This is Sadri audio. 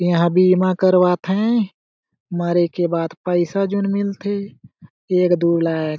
इहा बीमा करवात है मरे के बाद पाइसा जोन मिलथे एक दु लाख --